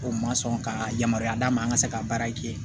O ma sɔn ka yamaruya d'a ma an ka se ka baara kɛ